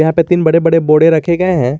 यहां पे तीन बड़े बड़े बोड़े रखे गए हैं।